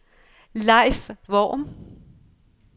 Leif Worm